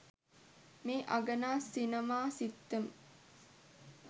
මේ අගනා සිනමා සිත්තම